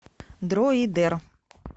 дроидер